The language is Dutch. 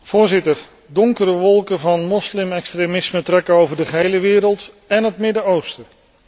Voorzitter, donkere wolken van moslimextremisme trekken over de gehele wereld en het Midden Oosten.